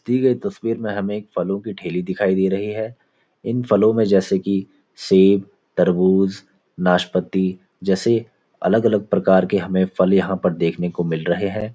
दी गई तस्वीर में हमें एक फलों की ठेली दिखाई दे रही है इन फलों में जैसे कि सेब तरबूज नाशपाती जैसे अलग-अलग प्रकार के हमें फल यहाँ पर देखने को मिल रहे हैं।